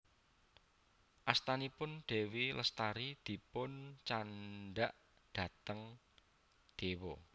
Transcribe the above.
Astanipun Dewi Lestari dipun candhak dateng Dewa